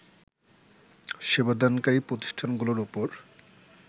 সেবাদানকারী প্রতিষ্ঠানগুলোর ওপর